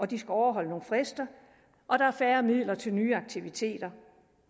de skal overholde nogle frister og der er færre midler til nye aktiviteter